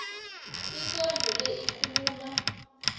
ikondlo le ikhuluma